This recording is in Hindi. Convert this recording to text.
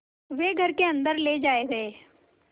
वे घर के अन्दर ले जाए गए